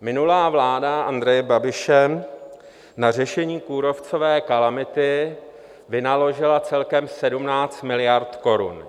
Minulá vláda Andreje Babiše na řešení kůrovcové kalamity vynaložila celkem 17 miliard korun.